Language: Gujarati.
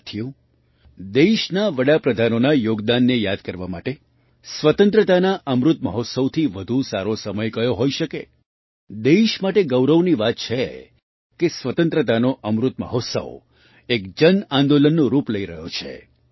સાથીઓ દેશના વડા પ્રધાનોના યોગદાનને યાદ કરવા માટે સ્વતંત્રતાના અમૃત મહોત્સવથી વધુ સારો સમય કયો હોઈ શકે દેશ માટે ગૌરવની વાત છે કે સ્વતંત્રતાનો અમૃત મહોત્સવ એક જન આંદોલનનું રૂપ લઈ રહ્યો છે